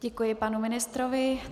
Děkuji panu ministrovi.